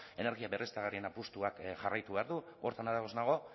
energia berriztagarrien apustuak jarraitu behar du horretan ados nago